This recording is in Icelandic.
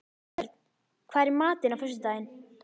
Hörn, hvað er í matinn á föstudaginn?